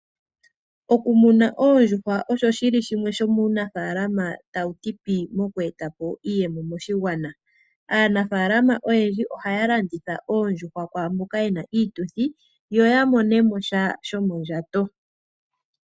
Oku muna oondjuhwa osho shili shimwe shomuunafaalama ta wu ti pii moku eta po iiyemo moshigwana . Aanafaalama ohaya landitha oondjuhwa kwaamboka ye na iituthi opo ya mone sha shomondjato.